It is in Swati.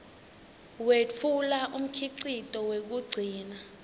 wetfula umkhicito wekugcina